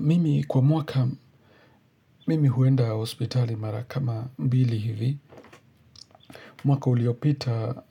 Mimi kwa mwaka, mimi huenda hospitali marakama mbili hivi. Mwaka uliopita,